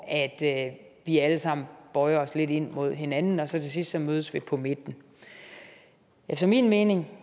at vi alle sammen bøjer os lidt ind mod hinanden og så til sidst mødes vi på midten efter min mening